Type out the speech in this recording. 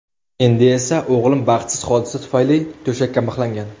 Endi esa o‘g‘lim baxtsiz hodisa tufayli to‘shakka mixlangan.